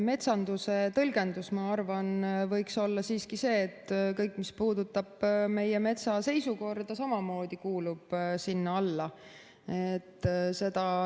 Metsanduse tõlgendus, ma arvan, võiks olla siiski see, et kõik, mis puudutab meie metsa seisukorda, samamoodi kuulub sinna alla.